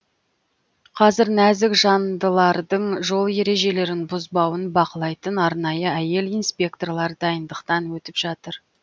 қазір нәзік жандылардың жол ережелерін бұзбауын бақылайтын арнайы әйел инспекторлар дайындықтан өтіп жатыр